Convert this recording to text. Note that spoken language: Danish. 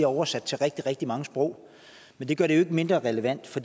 oversat til rigtig rigtig mange sprog men det gør det jo ikke mindre relevant for